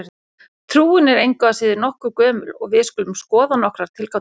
Trúin er engu að síður nokkuð gömul og við skulum skoða nokkrar tilgátur.